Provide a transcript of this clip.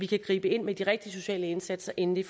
kan gribe ind med de rigtige sociale indsatser inden det